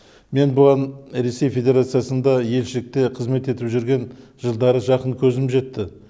мен бұған ресей федерациясында елшілікте қызмет етіп жүрген жылдары жақын көзім жетті